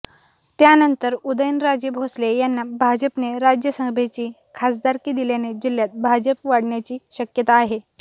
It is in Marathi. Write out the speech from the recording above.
त्यानंतर उदयनराजे भोसले यांना भाजपने राज्यसभेची खासदारकी दिल्याने जिल्ह्यात भाजप वाढण्याची शक्यता आहे